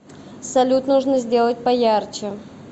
салют нужно сделать поярче